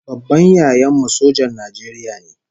Babban yayan mu sojan Najeriya ne